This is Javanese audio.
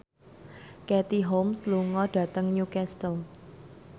Katie Holmes lunga dhateng Newcastle